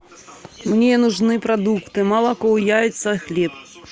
мне нужны продукты молоко яйца хлеб